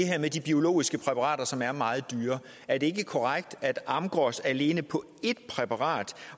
med de biologiske præparater som er meget dyre er det ikke korrekt at amgros alene på ét præparat